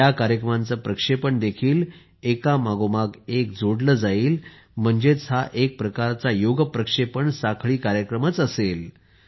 या कार्यक्रमांचे प्रक्षेपण देखील एकामागोमाग एक जोडले जाईल म्हणजेच हा एक प्रकारचा योग प्रक्षेपण साखळी कार्यक्रमच असेल